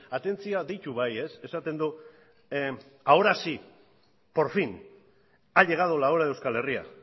atentzioa deitu bai esaten du ahora sí por fin ha llegado la hora de euskal herria